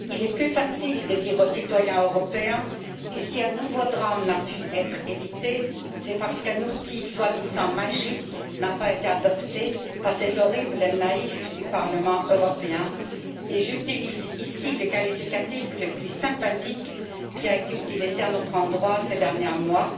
Monsieur le Président, il est plus facile de dire aux citoyens européens que, si un nouveau drame n'a pu être évité, c'est parce qu'un outil prétendument magique n'a pas été adopté par ces horribles naïfs du Parlement européen et j'utilise ici le qualificatif le plus sympathique qui a été utilisé à notre endroit ces derniers mois